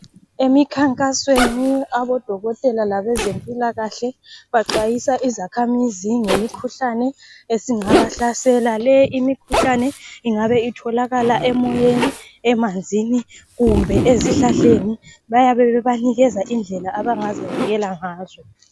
Emikhankasweni abadokotela labezempilakahle baxwayisa izakhamizi ngemikhuhlane esingabahlasela. Le imikhuhlane ingabe itholakala emoyeni, emanzini kumbe ezihlahleni. Bayabe bebanikeza indlela abangazivikela ngazo.